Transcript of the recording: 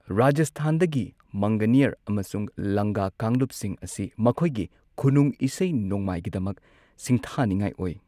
ꯔꯥꯖꯁꯊꯥꯟꯗꯒꯤ ꯃꯪꯒꯥꯅꯤꯌꯔ ꯑꯃꯁꯨꯡ ꯂꯪꯒꯥ ꯀꯥꯡꯂꯨꯞꯁꯤꯡ ꯑꯁꯤ ꯃꯈꯣꯏꯒꯤ ꯈꯨꯅꯨꯡ ꯏꯁꯩ ꯅꯣꯡꯃꯥꯏꯒꯤꯗꯃꯛ ꯁꯤꯡꯊꯥꯅꯤꯡꯉꯥꯏ ꯑꯣꯏ꯫